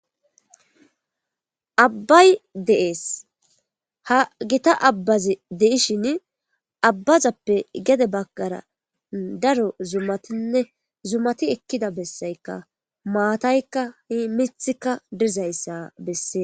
abbay de7ees ha gita abbazi de'ishin abbazappe gede bagara daro zummatinne zummati ekkida bessaykka maataykka mithika dizayssa bessees